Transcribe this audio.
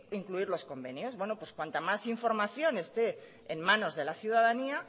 incluir los convenios bueno pues cuanta más información esté en manos de la ciudadanía